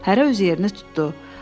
Hərə öz yerini tutdu.